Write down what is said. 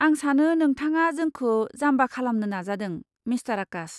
आं सानो नोंथाङा जोंखो जाम्बा खालामनो नाजादों, मिस्टार आकाश।